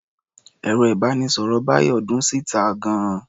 Ẹ̀rọ-ìbánisọ̀rọ̀ Bayo dún síta gan-an.